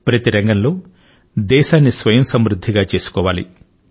ప్రతి రంగంలో దేశాన్ని స్వయంసమృద్ధియుతంగా చేసుకోవాలి